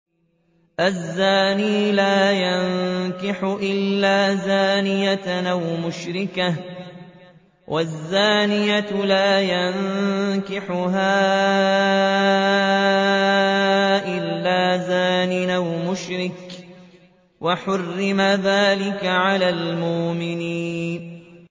الزَّانِي لَا يَنكِحُ إِلَّا زَانِيَةً أَوْ مُشْرِكَةً وَالزَّانِيَةُ لَا يَنكِحُهَا إِلَّا زَانٍ أَوْ مُشْرِكٌ ۚ وَحُرِّمَ ذَٰلِكَ عَلَى الْمُؤْمِنِينَ